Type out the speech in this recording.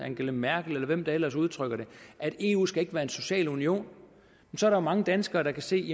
angela merkel eller hvem der ellers udtrykker det at eu ikke skal være en social union så er der mange danskere der kan se